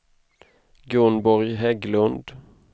Gunborg Hägglund